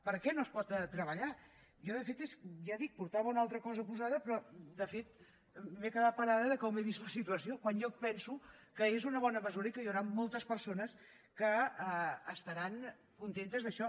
per què no es pot treballar jo de fet ja dic portava una altra cosa posada però de fet m’he quedat parada de com he vist la situació quan jo penso que és una bona mesura i que hi hauran moltes persones que estaran contentes d’això